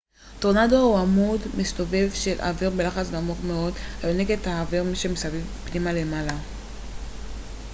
טורנדו הוא עמוד מסתובב של אוויר בלחץ נמוך מאוד היונק את האוויר שמסביב פנימה ולמעלה